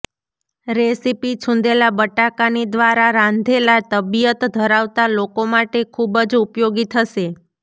recipe છૂંદેલા બટાકાની દ્વારા રાંધેલા તબિયત ધરાવતા લોકો માટે ખૂબ જ ઉપયોગી થશે